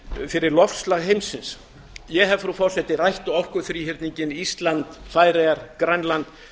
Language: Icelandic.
fyrir loftslag heimsins ég hef rætt orkuþríhyrninginn ísland færeyjar grænland